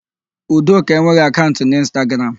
Udoka enweghị akaụnt n'Ịnstagram.